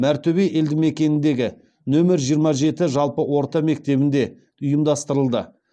мәртөбе елді мекеніндегі нөмір жиырма жеті жалпы орта мектебінде ұйымдастырылды